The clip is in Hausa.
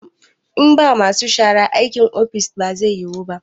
In ba masu shara, aikin ofis ba zai yiwu ba